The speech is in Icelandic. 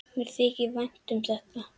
Mér þykir vænt um þetta.